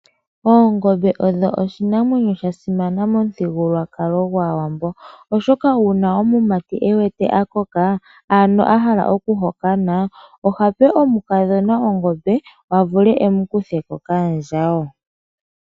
Oongombe odho iinamwenyo yasimana momithigukulwakalo gwaawambo, oshoka uuna omumati ewete a koka ano ahala oku hokana oha pe omukadhona ongombe a vule emukutheko kaandjawo.